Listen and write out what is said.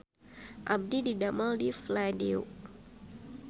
Abdi didamel di Fladeo